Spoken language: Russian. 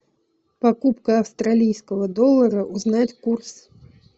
покупка австралийского доллара узнать курс